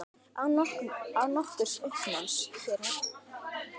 Án nokkurs uppnáms hér heima.